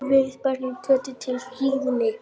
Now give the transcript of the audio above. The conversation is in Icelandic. Við berjum kjötið til hlýðni.